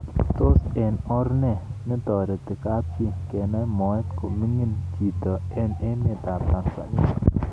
Tos, eng or ne netoreti kapchii kenai moet kominimg cbito eng emet ap. Tanzania?